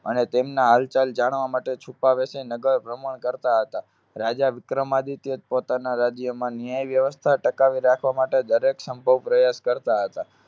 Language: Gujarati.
અને તેમના હાલચાલ જાણવા માટે છુપાવેશ નગરભ્રમણ કરતા હતા. રાજા વિક્રમાદિત્ય પોતાના રાજ્યમાં ન્યાય વ્યવસ્થા ટકાવી રાખવા માટે દરેક સંભવ પ્રયાસ કરતા હતા.